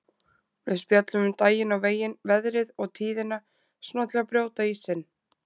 Við spjöllum um daginn og veginn, veðrið og tíðina, svona til að brjóta ísinn.